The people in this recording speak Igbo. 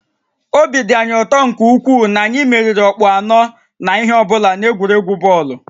Obi dị anyị ụtọ nke ukwuu na anyị meriri ọkpụ anọ na ihe ọ bụla n'egwuregwu bọọlụ